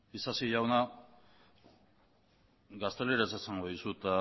isasi jauna gazteleraz esango dizut